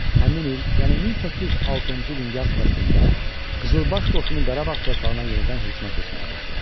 Həmin il, yəni 1806-cı ilin yaz fəslində Qızılbaş qoşunu Qarabağ torpağına yenidən hücuma keçməyə başladı.